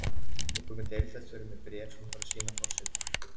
Nú kemur deildarstjóri með bréf sem hún þarf að sýna forseta.